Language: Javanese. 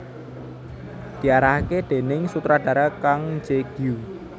Diarahaké déning sutradhara Kang Je Gyu